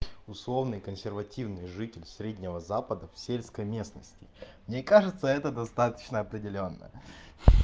условный консервативный житель среднего запада в сельской местности мне кажется это достаточно определённо